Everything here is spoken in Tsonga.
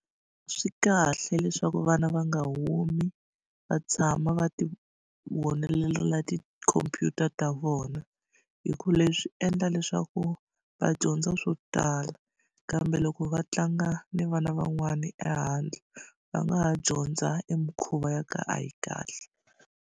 Swi kahle leswaku vana va nga humi va tshama va ti tikhompyuta ta vona hi ku leswi endla leswaku va dyondza swo tala kambe loko va tlanga na vana van'wani ehandle va nga ha dyondza e mikhuva ya ku a yi kahle.